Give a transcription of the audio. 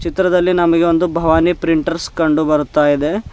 ಚಿತ್ರದಲ್ಲಿ ನಮಗೆ ಒಂದು ಭವಾನಿ ಪ್ರಿಂಟರ್ಸ್ ಕಂಡು ಬರುತ್ತಾ ಇದೆ.